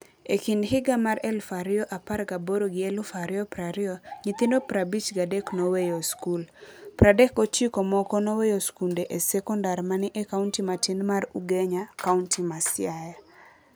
E kind higa mar elf ario apar gaboro gi eluf ario prario nyithindo prabich gadek noweyo skul. Pradek gochiko moko nowyo skunde sekondar mani ei kaunti matin mar Ugenya, kaunti ma Siaya.